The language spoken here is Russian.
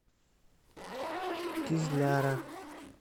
кизляра